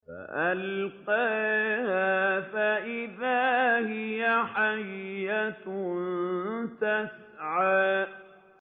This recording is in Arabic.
فَأَلْقَاهَا فَإِذَا هِيَ حَيَّةٌ تَسْعَىٰ